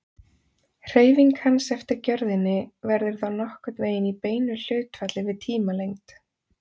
Hreyfing hans eftir gjörðinni verður þá nokkurn veginn í beinu hlutfalli við tímalengd.